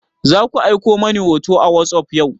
Zaku aiko mani hoto a wasop yau?